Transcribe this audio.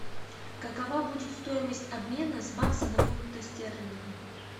какова будет стоимость обмена бакса на фунты стерлинга